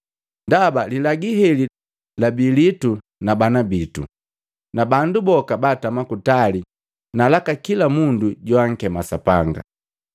Ndaba, lilagi heli labi liitu na bana bitu na bandu boka baatama kutali na laka kila mundu joankema Sapanga.”